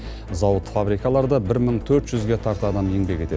зауыт фабрикаларда бір мың төрт жүзге тарта адам еңбек етеді